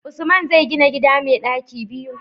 Usman zai gina gida mai ɗaki biyu